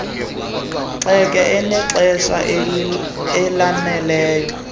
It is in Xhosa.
gxeke enexesha elaneleyo